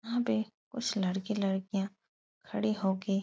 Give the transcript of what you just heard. यहाँ पे कुछ लड़के लड़कियां खड़े होके --